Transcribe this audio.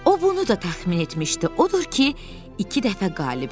O bunu da təxmin etmişdi, odur ki, iki dəfə qalib gəldi.